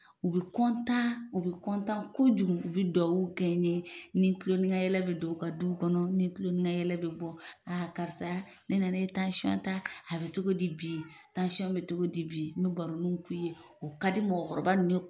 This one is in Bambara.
U bi kɔntan u bi kɔntan kojugu u be duaw kɛ n ye n ni kulo n ni ka yɛlɛ bi don u ka duw kɔnɔ n ni kulon ni ka yɛlɛ bi bɔ aa karisa ne nana e tansɔn ta a be togo di bi tansɔn be togo di bi n be baronu k'u ye ka di mɔgɔkɔrɔba nunnu ye